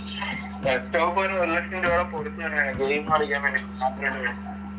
desktop തന്നെ ഒരു ലക്ഷം രൂപയുടെ ഗെയിം കളിക്കാൻ വേണ്ടി